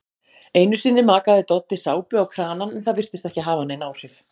Einusinni makaði Doddi sápu á kranann en það virtist ekki hafa nein áhrif.